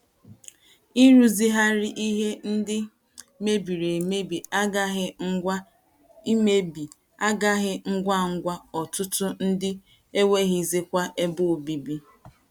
Ịrụzigharị̀ ihè ndị mebìrì emebi agaghị ngwa emebi agaghị ngwa ngwa, ọtụtụ ndị enweghịzikwa ebe obibi.